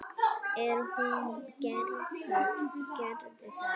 En hún gerði það.